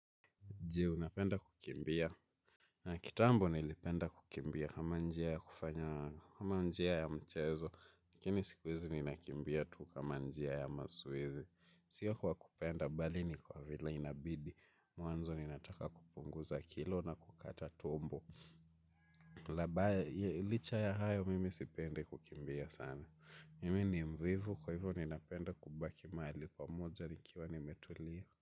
Je, unapenda kukimbia? Kitambo nilipenda kukimbia kama njia ya kufanya, kama njia ya mchezo. Lakini siku hizi ninakimbia tu kama njia ya mazoezi. Sio kwa kupenda, bali ni kwa vile inabidi. Mwanzo ninataka kupunguza kilo na kukata tumbo. Labaya, licha ya hayo mimi sipendi kukimbia sana. Mimi ni mvivu, kwa hivyo ninapenda kubaki mahali pamoja nikiwa nimetulia.